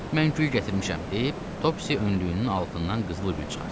Mən gül gətirmişəm, deyib Topsis önlüyünün altından qızıl gül çıxartdı.